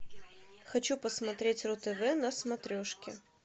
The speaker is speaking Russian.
хочу посмотреть ру тв на смотрешке